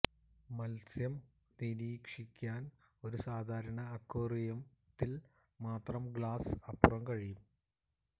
മത്സ്യം നിരീക്ഷിക്കാൻ ഒരു സാധാരണ അക്വേറിയം ൽ മാത്രം ഗ്ലാസ് അപ്പുറം കഴിയും